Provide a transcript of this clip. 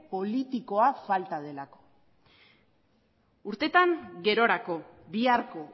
politikoa falta delako urtetan gerorako biharko